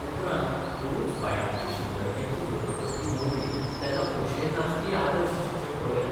उपरांत पोरूंच बायणाची शिंदळक्यांची झोपडपट्टी मोडली तेन्ना खोशयेन नाचपीय आदर्श शिक्षक पळयले.